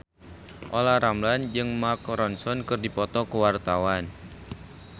Olla Ramlan jeung Mark Ronson keur dipoto ku wartawan